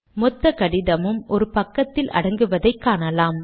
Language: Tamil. மொத்த கடிதமும் ஒரு பக்கத்தில் அடங்குவதை காணலாம்